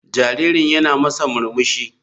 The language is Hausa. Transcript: Jaririn yana masa murmushi.